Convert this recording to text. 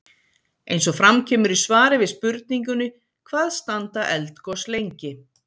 eins og fram kemur í svari við spurningunni hvað standa eldgos lengi